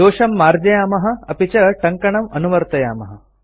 दोषं मार्जयामः अपि च टङ्कणं अनुवर्तयामः